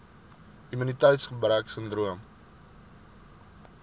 immuniteits gebrek sindroom